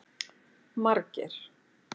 Margeir